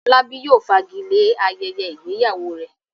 Fọlábí yóò fagilé ayẹyẹ ìgbéyàwó rẹ̀.